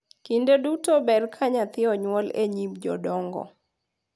Kinde duto ber ka nyathi onyuol e nyim jodongo